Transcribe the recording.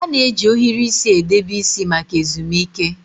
A na-eji ohiri isi edebe isi maka ezumike.